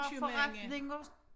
Købmænd